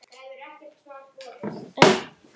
Segir það alþjóð ekki neitt?